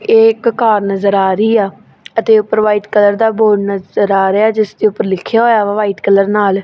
ਇਹ ਇੱਕ ਕਾਰ ਨਜ਼ਰ ਆ ਰਹੀ ਆ ਅਤੇ ਉਪਰ ਵ੍ਹਾਈਟ ਕਲਰ ਦਾ ਬੋਰਡ ਨਜ਼ਰ ਆ ਰਿਹਾ ਹੈ ਜਿੱਸ ਦੇ ਉਪਰ ਲਿਖਿਆ ਹੋਇਆ ਵਾ ਵ੍ਹਾਈਟ ਕਲਰ ਨਾਲ।